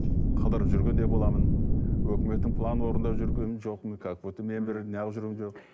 қыдырып жүргендей боламын өкіметтің планын орындап жүргенім жоқпын как будто мен бір